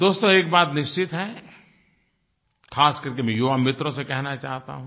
दोस्तो एक बात निश्चित है ख़ास करके मैं युवा मित्रों से कहना चाहता हूँ